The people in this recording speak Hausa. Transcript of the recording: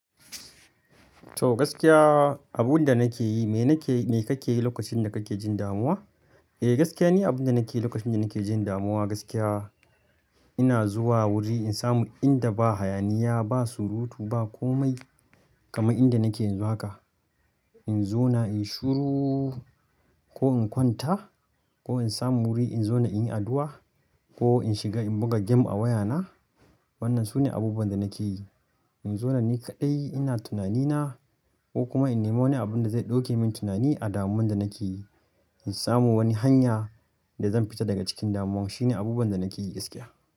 To gaskiya abunda nake yi, me kake yi lokacin da kake jin damuwa? Eh gaskiya ni abunda nake yi lokacin da nake jin damuwa gaskiya. Ina zuwa wuri in samu inda ba hayaniya, ba surutu, ba komai kama inda nake yanzu haka. In zo na in shuru ko in kwanta ko in samu wuri in zo na in yi addu'a ko in shiga in buga game a wayana. Wannan sune abubuwan da nake yi. In zo na ni kaɗai ina tunani na ko kuma in nemo wani abunda zai ɗauke min tunani a damuwan da nake yi. In samu wani hanya da zan fita daga cikin damuwan. Shine abubuwan da nake yi gaskiya.